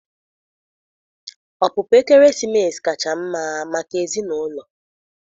Ọpụpụ ekeresimesi kacha mma maka ezinụlọ.